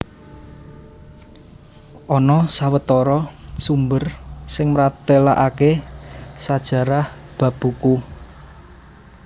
Ana sawetara sumber sing mratélakaké sajarah bab buku